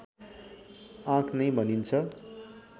आँक नै भनिन्छ